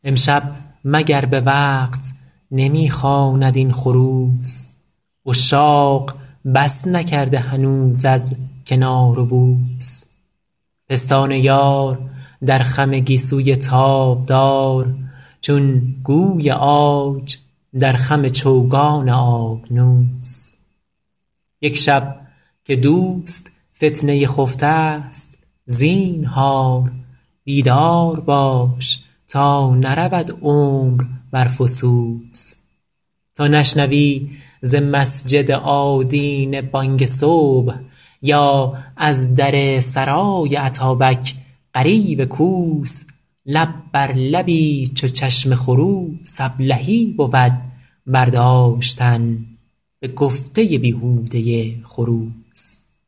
امشب مگر به وقت نمی خواند این خروس عشاق بس نکرده هنوز از کنار و بوس پستان یار در خم گیسوی تابدار چون گوی عاج در خم چوگان آبنوس یک شب که دوست فتنه خفته ست زینهار بیدار باش تا نرود عمر بر فسوس تا نشنوی ز مسجد آدینه بانگ صبح یا از در سرای اتابک غریو کوس لب بر لبی چو چشم خروس ابلهی بود برداشتن به گفته بیهوده خروس